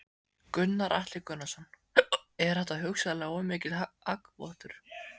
Gunnar Atli Gunnarsson: Er þetta hugsanlega of mikill hagvöxtur?